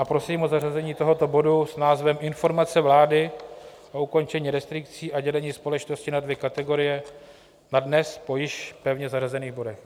A prosím o zařazení tohoto bodu s názvem Informace vlády o ukončení restrikcí a dělení společnosti na dvě kategorie na dnes po již pevně zařazených bodech.